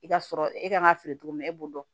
I ka sɔrɔ e kan ka feere cogo min na e b'o dɔn